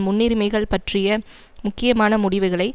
முன்னுரிமைகள் பற்றிய முக்கியமான முடிவுகளை